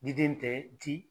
Di den tɛ ti